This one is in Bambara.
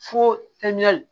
Fo